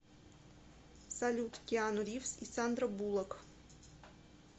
салют киану ривз и сандра булак